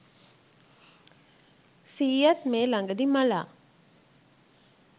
සීයත් මේ ළඟදී මලා